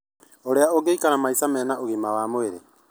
ũrĩa ũngĩikara maica mena ũgima wa mwĩrĩ